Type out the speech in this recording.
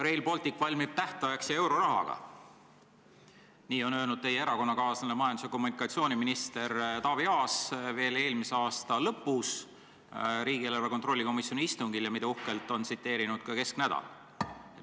Rail Baltic valmib tähtajaks ja eurorahaga – nii on öelnud teie erakonnakaaslane majandus- ja kommunikatsiooniminister Taavi Aas veel eelmise aasta lõpus riigieelarve kontrolli komisjoni istungil ja teda on uhkelt tsiteerinud ka Kesknädal.